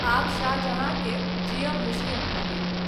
आब शाहजहाँ के जीअब मुश्किल भ’ गेल।